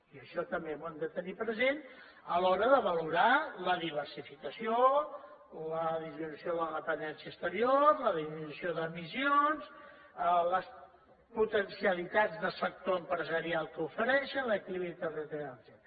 i això també ho hem de tenir present a l’hora de valorar la diversificació la diversificació de la dependència exterior la diversificació d’emissions les potencialitats del sector empresarial que ofereixen l’equilibri territorial etcètera